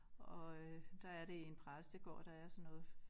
Og øh der er det i en præstegård der er sådan noget